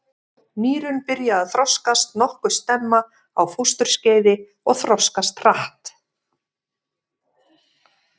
Nýrun byrja að þroskast nokkuð snemma á fósturskeiði og þroskast hratt.